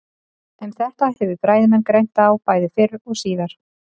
Um þetta hefur fræðimenn greint á bæði fyrr og síðar.